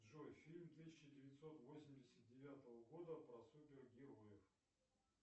джой фильм тысяча девятьсот восемьдесят девятого года про супергероев